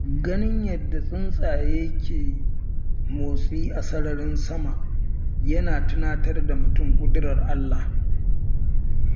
Ganin yadda tsuntsaye ke motsi a sararin sama yana tunatar da mutum ƙudirar Allah.